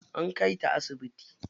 An kai ta asibiti.